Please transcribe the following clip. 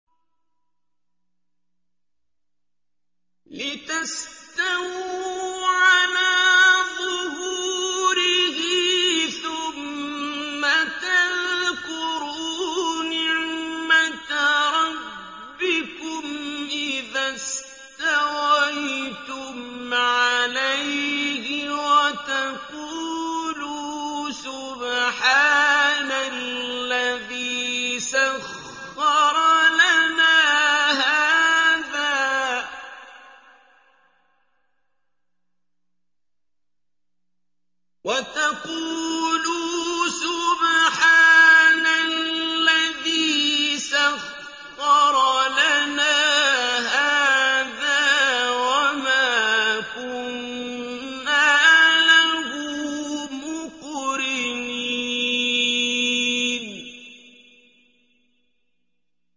لِتَسْتَوُوا عَلَىٰ ظُهُورِهِ ثُمَّ تَذْكُرُوا نِعْمَةَ رَبِّكُمْ إِذَا اسْتَوَيْتُمْ عَلَيْهِ وَتَقُولُوا سُبْحَانَ الَّذِي سَخَّرَ لَنَا هَٰذَا وَمَا كُنَّا لَهُ مُقْرِنِينَ